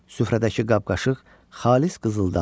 Süfrədəki qab-qaşıq xalis qızıldandır.